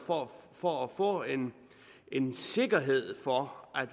for at få en en sikkerhed for at